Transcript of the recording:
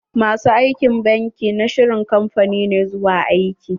Ma su aikin banki na shirin kamfani ne zuwa aiki.